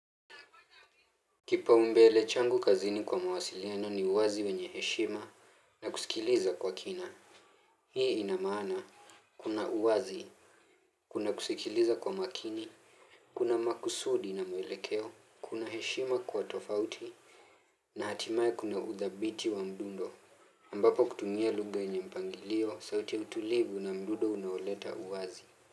Kipa umbele changu kazini kwa mawasiliano ni uwazi wenye heshima na kusikiliza kwa kina hii inamaana kuna uwazi, kuna kusikiliza kwa makini, kuna makusudi na mwelekeo, kuna heshima kwa tofauti na hatimaye kuna uthabiti wa mdundo ambapo kutumia lugha yenye mpangilio sauti ya utulivu na mdundo unaoleta uwazi.